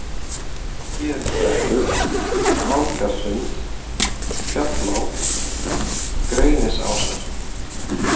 Héðinsbrekkur, Ásgarðsgrund, Fjallá, Grenisásar